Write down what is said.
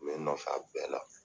bɛ nɔfɛ a bɛɛ la